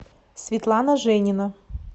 светлана женина